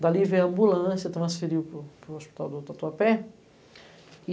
Dali veio a ambulância, transferiu para o hospital do Tatuapé.